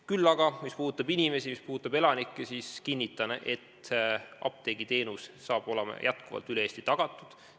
Küll aga kinnitan – mis puudutab inimesi –, et apteegiteenus saab edaspidigi olema üle Eesti tagatud.